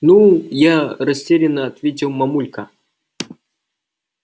ну я растеряно ответил мамулька